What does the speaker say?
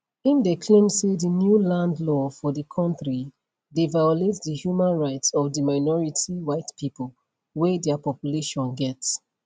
im dey claim say di new land law for di kontri dey violate di human rights of di minority white pipo wey dia population get